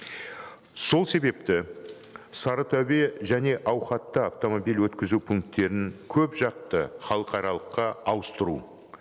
сол себепті сарытөбе және ауқатты автомобиль өткізу пункттерін көпжақты халықаралыққа ауыстыру